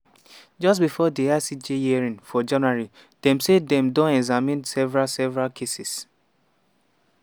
just bifor di icj hearing for january dem say dem don examine several several cases.